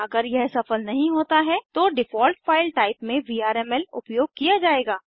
अगर यह सफल नहीं होता है तो डिफ़ॉल्ट फाइल टाइप में वीआरएमएल उपयोग किया जायेगा